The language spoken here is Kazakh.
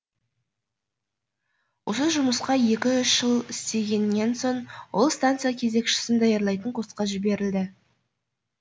осы жұмыста екі үш жыл істегеннен соң ол станция кезекшісін даярлайтын курсқа жіберілді